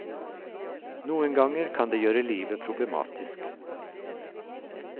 Noen ganger kan det gjøre livet problematisk.